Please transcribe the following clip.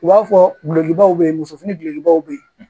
U b'a fɔ dulokibaw be ye musofini gulokibaw be ye